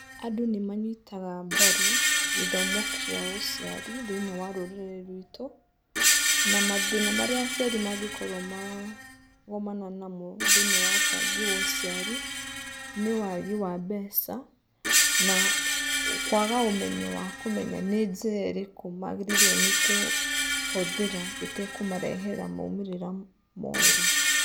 Andũ nĩmanyitaga mbaru gĩthomo kĩa ũciari thĩiniĩ wa rũrĩrĩ rwitũ. Na mathĩna marĩa aciari mangĩkorwo maragomana namo thĩiniĩ wa ũbangi wa ũciari, nĩ wagi wa mbeca, na kwaga ũmenyo wakũmenya nĩ njĩra ĩrĩkũ magĩrĩirwo nĩkũhũthĩra ĩtekũmarehera maumĩrĩra moru.